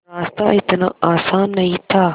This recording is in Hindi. रास्ता इतना आसान नहीं था